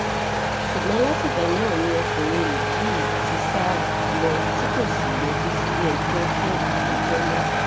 ṣùgbọ́n látìgbà náà ni ọkùnrin yìí ti sá lọ tí kò sì yọjú sílẹ̀-ẹjọ́ fún ìgbẹ́jọ́ mọ́